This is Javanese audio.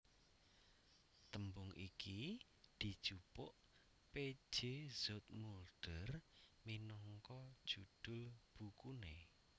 Tembung iki dijupuk P J Zoetmulder minangka judhul bukuné